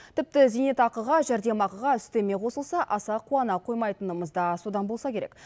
тіпті зейнетақыға жәрдемақыға үстеме қосылса аса қуана қоймайтынымыз да содан болса керек